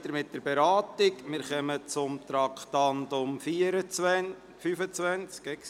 Wir setzen die Beratung fort und kommen zum Traktandum 25.